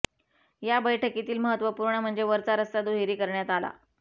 या बैठकीतील महत्वपूर्ण म्हणजे वरचा रस्ता दुहेरी करण्यात आला